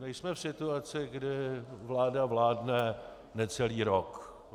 Nejsme v situaci, kdy vláda vládne necelý rok.